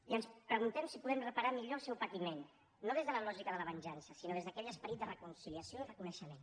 i ens preguntem si podem reparar millor el seu patiment no des de la lògica de la venjança sinó des d’aquell esperit de reconciliació i reconeixement